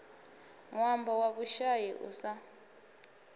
ṅwambo wa vhushai u sa